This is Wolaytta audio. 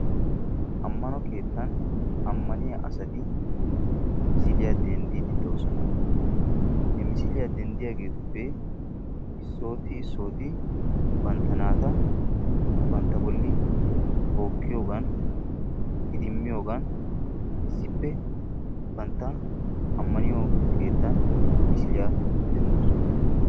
Amano keettan amaniya asati misiliyaa dendiidi de'oosona. ha misiliya denddiyaageetuppe isooti bantta naata bantta boli tookiyoogan iddimiyoogan issippe bantta amaniyo keettan misiliya denddoosona.